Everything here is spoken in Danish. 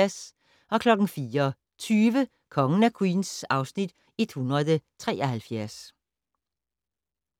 04:20: Kongen af Queens (Afs. 173)